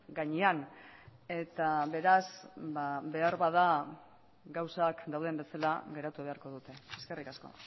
gainean eta beraz ba beharbada gauzak dauden bezala geratu beharko dute eskerrik asko